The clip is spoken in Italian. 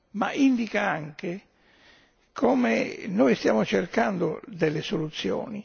ma indica anche come noi stiamo cercando delle soluzioni.